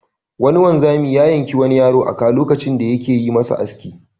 Wani wanzami ya yanki wani yaro a ka lokacin da yake yi masa aski.